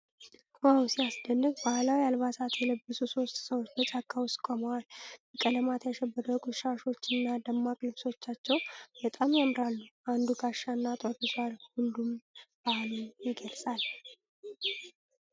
ዋው፣ ሲያስደንቅ! ባህላዊ አልባሳት የለበሱ ሶስት ሰዎች በጫካ ውስጥ ቆመዋል። በቀለማት ያሸበረቁት ሻሾች እና ደማቅ ልብሶቻቸው በጣም ያምራሉ። አንዱ ጋሻና ጦር ይዟል፣ ይህም ባህሉን ይገልጻል።